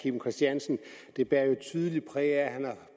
kim christiansen det bar jo tydeligt præg af at han er